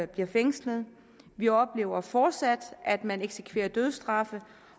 bliver fængslet vi oplever fortsat at man eksekverer dødsstraffe